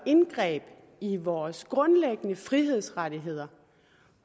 indgreb i vores grundlæggende frihedsrettigheder